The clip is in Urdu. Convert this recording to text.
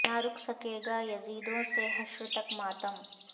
نہ رک سکے گا یزیدوں سے حشر تک ماتم